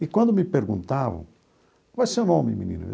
E quando me perguntaram, qual é o seu nome, menino?